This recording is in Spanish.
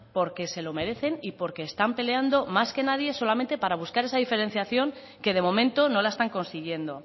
porque se lo merecen y porque están peleando más que nadie solamente para buscar esa diferenciación que de momento no la están consiguiendo